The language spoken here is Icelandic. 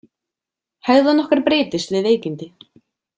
Hegðun okkar breytist við veikindi.